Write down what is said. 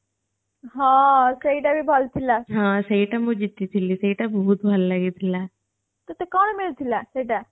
ହଁ ସେଇଟା ବି ଭଲ ଥିଲା ହଁ ସେଇଟା ମୁଁ ଜିତିଥିଲି ସେଇଟା ବହୁତ ଭଲ ଲାଗିଥିଲା ତତେ କଣ ମିଳିଥିଲା ସେଇଟା